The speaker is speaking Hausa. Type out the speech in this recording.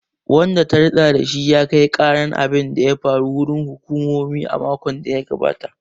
Wanda ta ritsa da shi ya kai karan abin da ya faru. wurin hukumomi a makon da ya gabata